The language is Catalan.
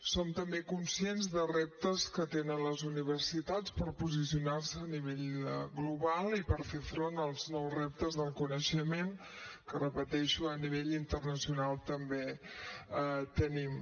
som també conscients de reptes que tenen les universitats per posicionar se a nivell global i per fer front als nous reptes del coneixement que ho repeteixo a nivell internacional també tenim